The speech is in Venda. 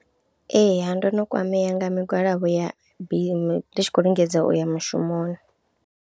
Ee ndo no kwamea nga migwalabo ya mabisi ndi tshi khou lingedza u ya mushumoni.